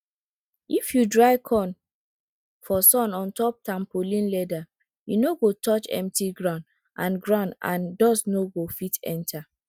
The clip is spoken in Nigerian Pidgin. if you dry corn for sun ontop tampolin leather e no go touch empty ground and ground and dust no go fit enter